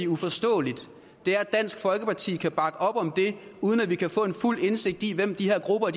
uforståeligt er at dansk folkeparti kan bakke op om det uden at vi kan få fuld indsigt i hvem de her grupper